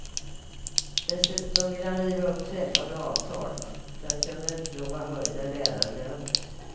Dessutom vill han riva upp träffade avtal för att kunna utlova höjda lärarlöner.